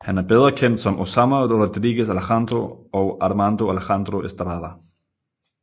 Han er bedre kendt som Osama Rodriguez Alejandro og Armando Alejandro Estrada